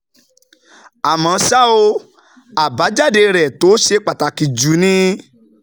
Àmọ́ ṣá o, àbájáde rẹ̀ tó ṣe pàtàkì jù ni